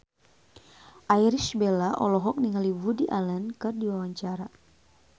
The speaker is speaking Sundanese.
Irish Bella olohok ningali Woody Allen keur diwawancara